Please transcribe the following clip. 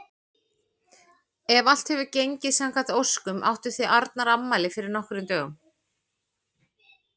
Ef allt hefur gengið samkvæmt óskum áttuð þið Arnar afmæli fyrir nokkrum dögum.